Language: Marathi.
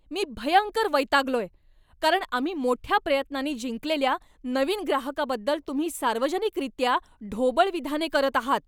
मी भयंकर वैतागलोय कारण आम्ही मोठ्या प्रयत्नांनी जिंकलेल्या नवीन ग्राहकाबद्दल तुम्ही सार्वजनिकरित्या ढोबळ विधाने करत आहात.